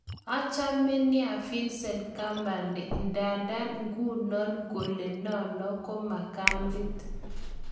Achame nia Vincent kompany ndadan igunano kole nano ko makadit